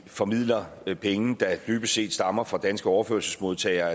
formidler penge der dybest set stammer fra danske overførselsmodtagere